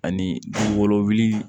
Ani wolowuli